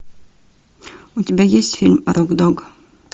у тебя есть фильм рог дог